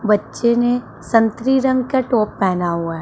बच्चों ने संतरी रंग का टॉप पहना हुआ है।